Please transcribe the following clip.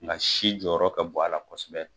Nka si jɔyɔrɔ ka bon a la kosɛbɛ.